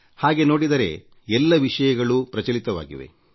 ಹಾಗೆ ನೋಡಿದರೆ ಎಲ್ಲ ವಿಷಯಗಳೂ ಪ್ರಚಲಿತವಾಗಿವೆ